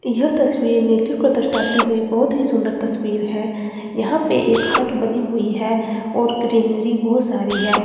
यह तस्वीर नेचर को दर्शाते हुए बहुत ही सुंदर तस्वीर है यहां पे एक हट बनी हुई है और ग्रीनरी बहुत सारी है।